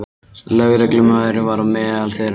Lögreglumaðurinn var á meðal þeirra föllnu